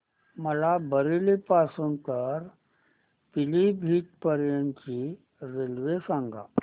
मला बरेली पासून तर पीलीभीत पर्यंत ची रेल्वे सांगा